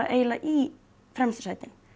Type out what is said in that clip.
eiginlega í fremstu sætin